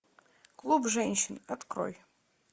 клуб женщин открой